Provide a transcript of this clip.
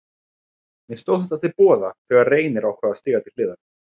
Mér stóð þetta til boða þegar Reynir ákvað að stíga til hliðar.